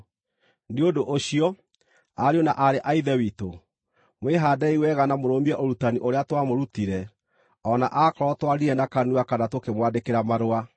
Nĩ ũndũ ũcio, ariũ na aarĩ a Ithe witũ, mwĩhaandei wega na mũrũmie ũrutani ũrĩa twamũrutire, o na akorwo twaririe na kanua kana tũkĩmwandĩkĩra marũa.